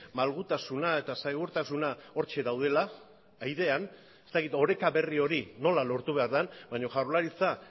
malgutasuna eta segurtasuna hortxe daudela airean ez dakit oreka berri hori nola lortu behar den baina jaurlaritza